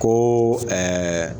Ko